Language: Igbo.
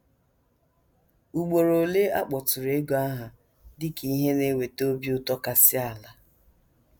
Ugboro ole a kpọtụrụ ego aha dị ka ihe na - eweta obi ụtọ kasị ala.